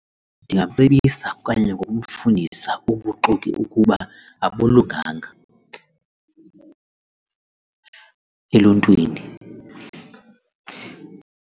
Ndingamcebisa okanye ngokumfundisa ubuxoki ukuba abulunganga eluntwini.